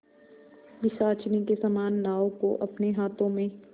पिशाचिनी के समान नाव को अपने हाथों में